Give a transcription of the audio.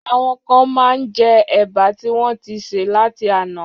Àwọn kán ti má njẹ Ẹ̀bà tí wọ́n ń ti sè láti àná.